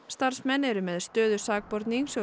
starfsmenn eru með stöðu sakbornings